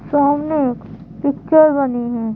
सामने एक पिक्चर बनी है।